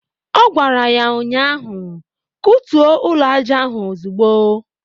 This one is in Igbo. Ọ gwara ya ụnyaahụ"Kutuo ụlọaja ahụ ozugbo"